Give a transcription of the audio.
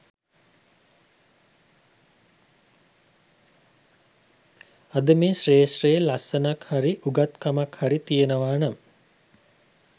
අද මේ ක්ෂේත්‍රයේ ලස්සනක් හරි උගත්කමක් හරි තියෙනවා නම්